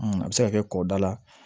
a bɛ se ka kɛ kɔ da la